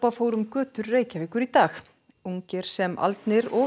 fór um götur Reykjavíkur í dag ungir sem aldnir og